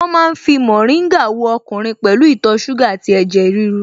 Wọ́n ma ń fi mórìngà wo ọkùnrin pẹ̀lú ìtọ̀ ṣúgà àti ẹ̀jẹ̀ ríru